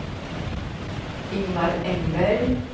Ingvar Engberg